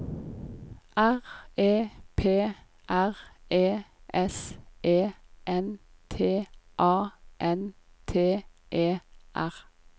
R E P R E S E N T A N T E R